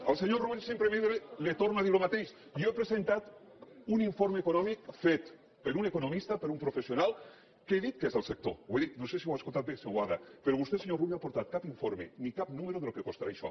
al senyor rull simplement li torno a dir el mateix jo he presentat un informe econòmic fet per un economista per un professional que he dit que és del sector ho he dit no sé si ho ha escoltat bé senyor boada però vostè senyor rull no ha aportat cap informe ni cap número del que costarà això